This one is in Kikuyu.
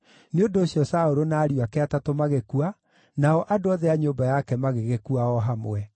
Nĩ ũndũ ũcio Saũlũ na ariũ ake atatũ magĩkua, nao andũ othe a nyũmba yake magĩgĩkua o hamwe.